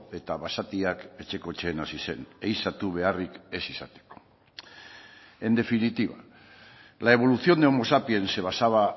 eta basatiak etxekotzen hasi zen ehizatu beharrik ez izateko en definitiva la evolución de homo sapiens se basaba